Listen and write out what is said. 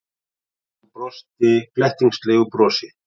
Hún brosti glettnislegu brosi.